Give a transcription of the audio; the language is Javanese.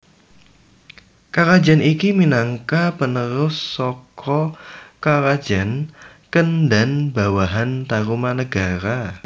Karajan iki minangka panerus saka karajan Kendan bawahan Tarumanagara